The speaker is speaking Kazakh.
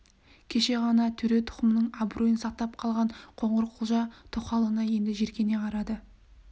кеше ғана төре тұқымының абыройын сақтап қалған қоңырқұлжа тоқалына енді жеркене қарады